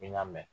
I n'a mɛn